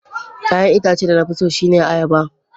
Ya'yan itacen da na fi so shine ayaba.